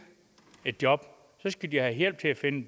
et job skal de have hjælp til at finde